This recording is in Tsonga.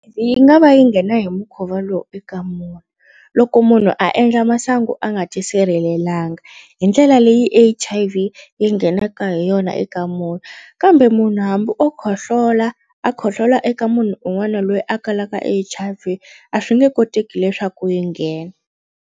Yi nga va yi nghena hi mukhuva lowu eka munhu loko munhu a endla masangu a nga ti sirhelelangi hi ndlela leyi H_I_V yi nghenaka hi yona eka munhu kambe munhu hambi o khohlola a khohlola eka munhu un'wana loyi a kalaka H_I_V a swi nge koteki leswaku yi nghena